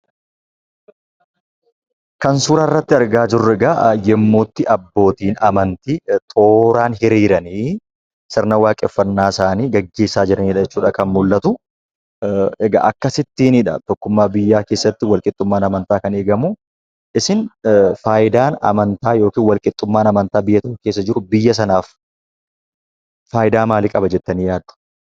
Kan suuraa irratti argaa jirru egaa yemmuutti abbootiin amantii tooraan hiriiranii sirna waaqeffannaa isaanii geggeessaa jiranidha jechuudha kan mul'atu. Egaa akkasittiinidha tokkummaa biyyaa keessatti walqixxummaan amantaa kan eegamu. Isin faayidaan amantaa yookaan walqixxummaan amantaa biyya tokko keessa jiru biyya sanaaf faayidaa maalii qaba jettanii yaaddu?